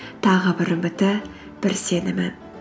тағы бір үміті бір сенімі